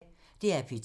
DR P2